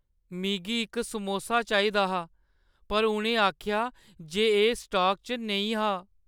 मिगी इक समोसा चाहिदा हा पर उʼनें आखेआ जे एह् स्टॉक च नेईं हा।